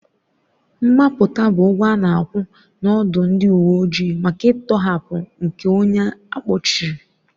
Mgbapụta bụ ụgwọ a na-akwụ n'ọdụ ndị uwe ojii maka ntọhapụ nke onye a kpọchiri.